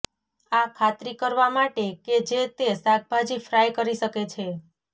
આ ખાતરી કરવા માટે કે જે તે શાકભાજી ફ્રાય કરી શકે છે